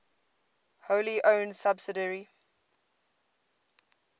wholly owned subsidiary